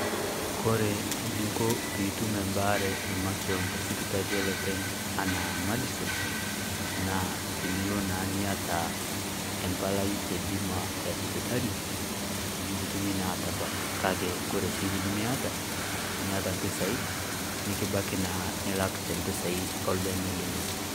Kore ninko piitum embaare emakewon te sipitali olopeny anaa Madison, naa tiniloo naa nieta empalai e bima e sipitali nikutumi naa aitabaak na kaki kore sii tinimieta nieta mpesai nikibaaki naa nilaak te mpesai o lbeene lilo.